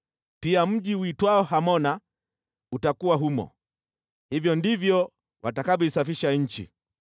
(Pia mji uitwao Hamona utakuwa humo.) Hivyo ndivyo watakavyoisafisha nchi.’